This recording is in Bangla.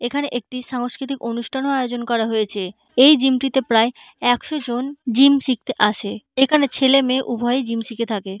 এখানে একটি সাংস্কৃতিক অনুষ্ঠানও আয়োজন করা হয়েছেএই জিম -টিতে প্রায় একশো জন জিম শিখতে থাকেএখানে ছেলে মেয়ে উভয়েই জিম শিখে থাকে।